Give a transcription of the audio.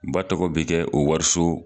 Ba tɔgɔ be kɛ o wariso